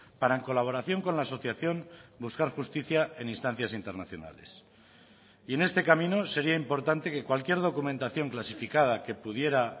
para en colaboración con la asociación buscar justicia en instancias internacionales y en este camino sería importante que cualquier documentación clasificada que pudiera